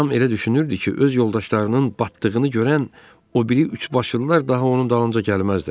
Ram elə düşünürdü ki, öz yoldaşlarının batdığını görən o biri üçbaşlılar daha onun dalınca gəlməzdilər.